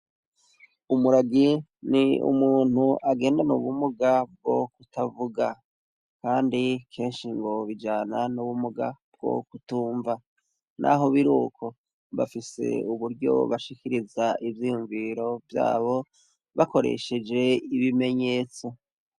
Umuragi ni umuntu agendana ubumuga bwo kutavuga, Kandi kenshi ngo bijana n'ubumuga bwo kutunva, naho biruko bafise uburyo bashikiriza ivyiyunviro vyabo bakoresheje ibimenyetso.